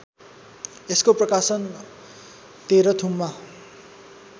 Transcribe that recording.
यसको प्रकाशन तेह्रथुममा